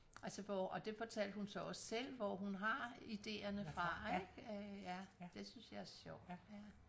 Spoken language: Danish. Altså hvor og det fortalte hun så også selv hvor hun har idéerne fra ik øh ja det synes jeg er sjovt ja